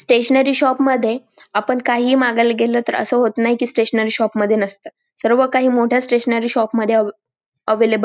stationery shop मध्ये आपण काही मागायला गेल तर अस होत नाय की स्टेशनरी शॉप मध्ये नसत सर्व काही मोठ्या स्टेशनरी शॉप मध्ये अव अवेलेबल --